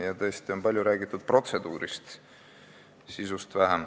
Ja tõesti on palju räägitud protseduurist, vähem sisust.